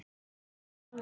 Enn á ný